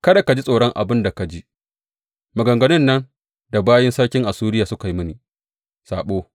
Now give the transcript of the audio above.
Kada ka ji tsoron abin da ka ji, maganganun nan da bayin sarkin Assuriya suka yi mini saɓo.